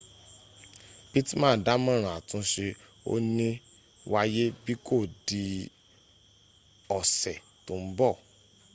pittman dámọ̀ràn àtúnse ò ní wáyé bí kò di ọ̀sẹ̀ tó ń bọ̀